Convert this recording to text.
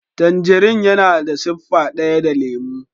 Tangin yana da siffa daya da lemo.